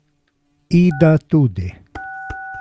Ida tudi.